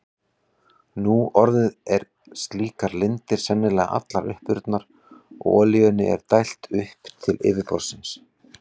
Nú orðið eru slíkar lindir sennilega allar uppurnar og olíunni er dælt upp til yfirborðsins.